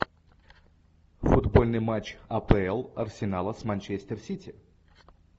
футбольный матч апл арсенала с манчестер сити